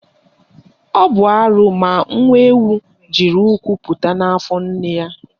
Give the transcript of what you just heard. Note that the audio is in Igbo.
Ọ bụ arụ ma nwa ewu jiri ụkwụ pụta n'afọ nne ya